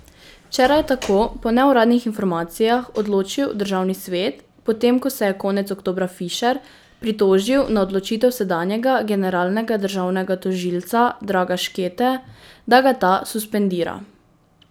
Včeraj je tako po neuradni informacijah odločil državni svet, potem ko se je konec oktobra Fišer pritožil na odločitev sedanjega generalnega državnega tožilca Draga Škete, da ga ta suspendira.